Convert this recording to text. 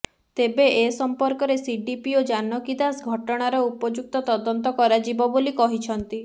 ତେବେ ଏ ସଂପର୍କରେ ସିଡିପିଓ ଜାନକୀ ଦାସ ଘଟଣାର ଉପଯୁକ୍ତ ତଦନ୍ତ କରାଯିବ ବୋଲି କହିଛନ୍ତି